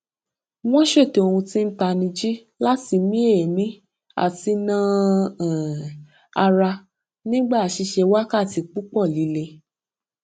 wọn ṣètò ohun tí ń tanijí láti mí èémí àti na um ara nígbà ṣiṣẹ wákàtí púpọ lílé